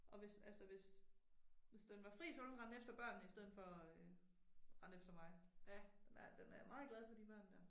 Og hvis, altså hvis. Hvis den var fri så ville den rende efter børnene i stedet for og øh rende efter mig. Ja, den er meget glad for de børn der